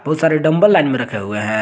बहुत सारे dumbbell line में रखे हुए हैं।